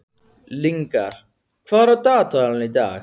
Lyngar, hvað er á dagatalinu í dag?